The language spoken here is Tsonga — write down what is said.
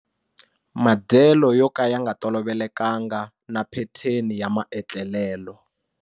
Madyelo yo ka ya nga tolovelekanga na phetheni ya maetlelelo.